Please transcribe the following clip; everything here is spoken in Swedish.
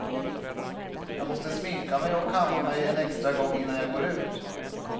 Jag måste sminka mig och kamma mig en extra gång innan jag går ut.